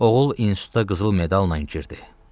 Oğul instituta qızıl medalla girdi.